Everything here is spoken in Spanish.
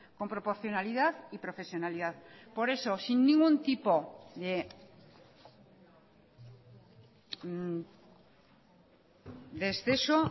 con proporcionalidad y profesionalidad por eso sin ningún tipo de exceso